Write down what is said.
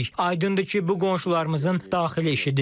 Aydındır ki, bu qonşularımızın daxili işidir.